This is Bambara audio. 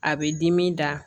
A bɛ dimi da